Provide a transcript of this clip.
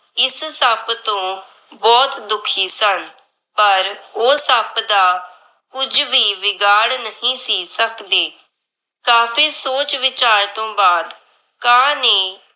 ਇਸ ਸੱਪ ਤੋਂ ਬਹੁਤ ਦੁੱਖੀ ਸਨ। ਪਰ ਉਹ ਸੱਪ ਦਾ ਕੁੱਝ ਵੀ ਵਿਗਾੜ ਨਹੀਂ ਸੀ ਸੱਕਦੇ। ਕਾਫ਼ੀ ਸੋਚ ਵਿਚਾਰ ਤੋਂ ਬਾਦ ਕਾਂ ਨੇ